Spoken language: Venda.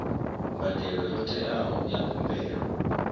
mbadelo yo teaho ya khumbelo